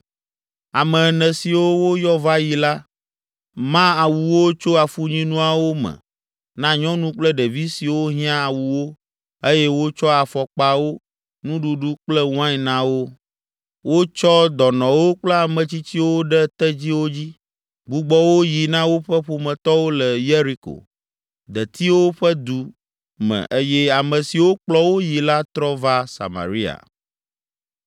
Ame ene siwo woyɔ va yi la, ma awuwo tso afunyinuawo me na nyɔnu kple ɖevi siwo hiã awuwo eye wotsɔ afɔkpawo, nuɖuɖu kple wain na wo. Wotsɔ dɔnɔwo kple ame tsitsiwo ɖe tedziwo dzi, gbugbɔ wo yi na woƒe ƒometɔwo le Yeriko, Detiwo Ƒe Du me eye ame siwo kplɔ wo yi la trɔ va Samaria.